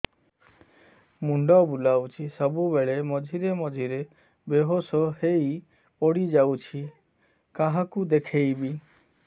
ମୁଣ୍ଡ ବୁଲାଉଛି ସବୁବେଳେ ମଝିରେ ମଝିରେ ବେହୋସ ହେଇ ପଡିଯାଉଛି କାହାକୁ ଦେଖେଇବି